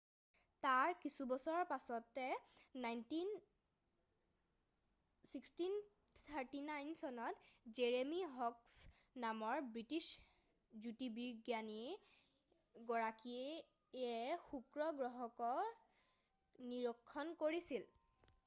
তাৰ কিছুবছৰ পিছতে 1639 চনত জেৰেমি হৰক্স নামৰ ব্ৰিটিছ জ্যোতিৰ্বিজ্ঞানী গৰাকীয়ে শুক্ৰ গ্ৰহৰ কক্ষ নিৰীক্ষণ কৰিছিল